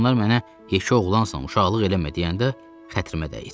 Ancaq onlar mənə yeke oğlansan, uşaqlıq eləmə deyəndə xətrimə dəyir.